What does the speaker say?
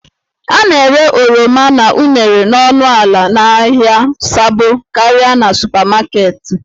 A na-ere oroma na unere n'ọnụ ala n'ahịa Sabo karịa na supamaketi